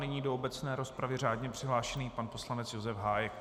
Nyní do obecné rozpravy řádně přihlášený pan poslanec Josef Hájek.